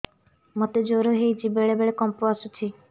ମୋତେ ଜ୍ୱର ହେଇଚି ବେଳେ ବେଳେ କମ୍ପ ଆସୁଛି